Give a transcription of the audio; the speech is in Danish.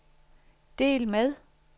del med